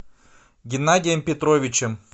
геннадием петровичем